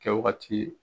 Kɛwagati